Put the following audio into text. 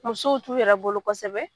Musow t'u yɛrɛ bolo kosɛbɛ.